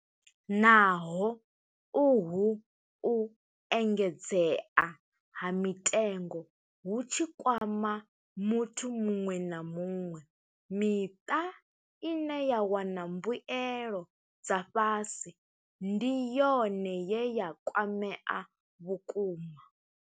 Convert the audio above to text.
Naho uhu u engedzea ha mitengo hu tshi kwama muthu muṅwe na muṅwe, miṱa ine ya wana mbuelo dza fhasi ndi yone ye ya kwamea vhukuma.